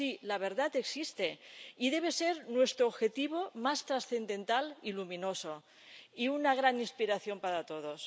Sí, la verdad existe, y debe ser nuestro objetivo más trascendental y luminoso y una gran inspiración para todos.